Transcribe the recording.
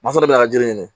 Masala de bɛ ka jiri ɲini